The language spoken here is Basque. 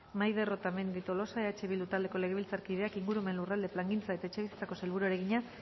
maider otamendi tolosa eh bildu taldeko legebiltzarkideak ingurumen lurralde plangintza eta etxebizitzako sailburuari egina